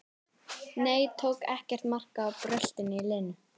Nei, tók ekkert mark á bröltinu í Lenu.